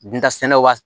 Dunta sɛnɛw wa